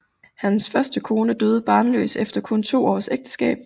Hans første kone døde barnløs efter kun to års ægteskab